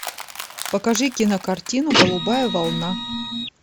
покажи кинокартину голубая волна